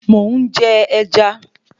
Mò ń jẹ ẹja